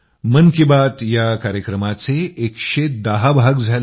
मन की बात या कार्यक्रमांचे 110 भाग झाले